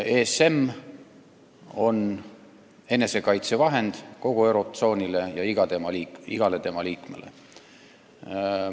ESM on enesekaitsevahend kogu eurotsoonile ja igale tema liikmele.